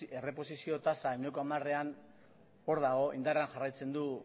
erreposizio tasa ehuneko hamarean hor dago indarrean jarraitzen du